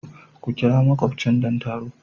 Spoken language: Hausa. Ku ƙira makubchin don taro.